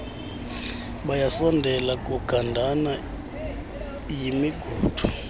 bayasondela kugandana yimigudu